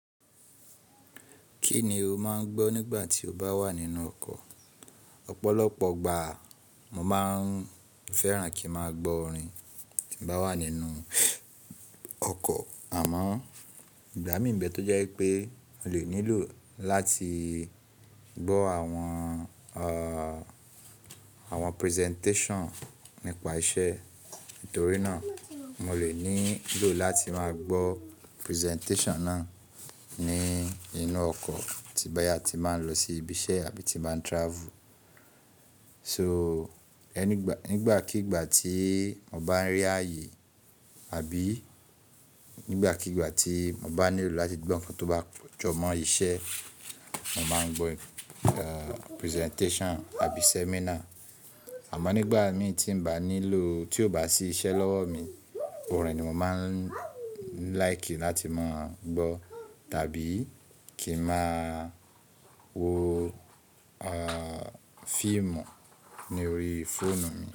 Kí ni o máa ń gbọ́ nígbà tí o bá wà nínú ọkọ̀? Ọ̀pọ̀lọpọ̀ ìgbà mo máa ń fẹ́ràn kí n máa gbọ́ orin tí mo bá wà nínú ọkọ̀. Àmọ́ ìgbà mìí nbe tó jẹ́ pé mo lè nílò láti gbọ́ àwọn presentation nípa iṣẹ́. Nítorí náà mo lè nílò láti máa gbọ́ presentation náà ní inú ọkọ̀ tí bá yá tí n bà n lọ sí ibi iṣẹ́ àbí tí n bá n travel. So, nígbàkigbà tí mo bá ń rí ààyè àbí nígbàkigbà tí mo bá nílò láti gbọ́ ǹkan tó bá jọmọ́ iṣẹ́, mo máa ń gbọ́ presentation àbí seminar. Àmọ́ nígbà mi tí n bá nílò, tí ó bá sí iṣẹ́ lọ́wọ́ mi, orin ni mo máa ń like láti máa gbọ́ tàbí kí ń máa wo fíìmù ní orí fóònù mi.